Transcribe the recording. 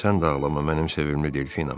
Sən də ağlama mənim sevimli Delfinam.